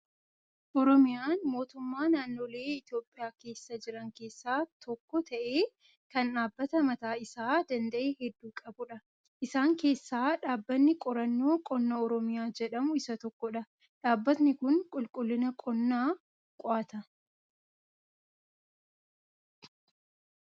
Oromiyaan mootummaa naannolee Itoophiyaa keessa jiran keessaa tokko ta'ee, kan dhaabbata mataa isaa danda'e hedduu qabudha. Isaan keessaa dhaabbanni Qorannoo Qonna Oromiyaa jedhamu isa tokkodha. Dhaabbatni kun qulqullina qonnaa qo'ata.